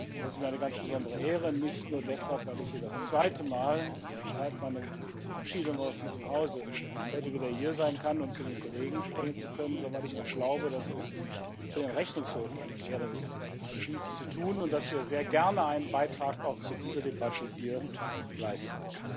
Das ist mir eine ganz besondere Ehre, nicht nur deshalb, weil ich heute das zweite Mal seit meiner Verabschiedung aus diesem Hause wieder hier sein kann, um zu den Kollegen sprechen zu können, sondern weil ich auch glaube, dass es für den Rechnungshof eine Ehre ist, dies zu tun, und dass wir sehr gerne einen Beitrag zu dieser Debatte hier leisten.